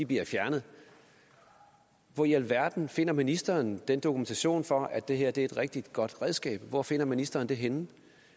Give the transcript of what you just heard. bliver fjernet hvor i alverden finder ministeren den dokumentation for at det her er et rigtig godt redskab hvor finder ministeren den henne